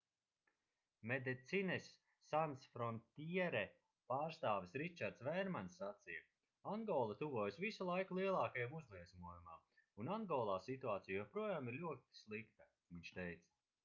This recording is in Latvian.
medecines sans frontiere pārstāvis ričards vērmans sacīja angola tuvojas visu laiku lielākajam uzliesmojumam un angolā situācija joprojām ir ļoti slikta viņš teica